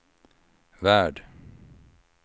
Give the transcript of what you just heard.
värld